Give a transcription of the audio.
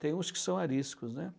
Tem uns que são ariscos, né?